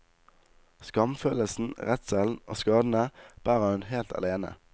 Skamfølelsen, redselen og skadene bærer hun helt alene.